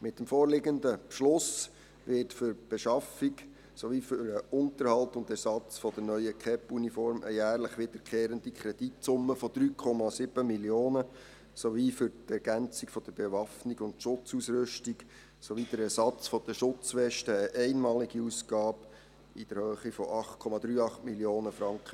Mit dem vorliegenden Beschluss wird für die Beschaffung sowie den Unterhalt und Ersatz der neuen KEP-Uniform eine jährlich wiederkehrende Kreditsumme von 3,7 Mio. Franken beantragt sowie für die Ergänzung der Bewaffnung und Schutzausrüstung und den Ersatz der Schutzwesten eine einmalige Ausgabe in der Höhe von 8,38 Mio. Franken.